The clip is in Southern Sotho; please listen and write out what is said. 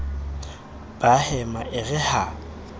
ba hema e re ha